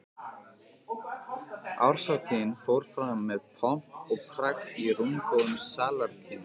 Árshátíðin fór fram með pomp og prakt í rúmgóðum salarkynnum